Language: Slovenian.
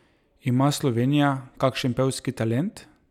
Ima Slovenija kakšen pevski talent?